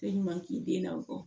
E ɲuman k'i den na kɔ